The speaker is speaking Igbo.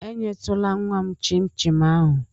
Enyetụla nnwa m chịn chin ahụ!